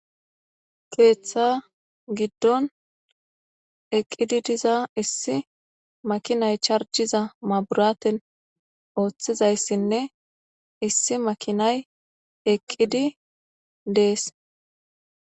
Keeththaa giddon eqqidi diza issi makinay charjjiza maabraathen ooththizayssinne issi maakinay eqqidi dees.